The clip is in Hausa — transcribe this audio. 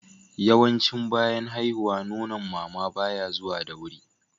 yawanci bayan haihuwa Nonon mama baya zuwa da wuri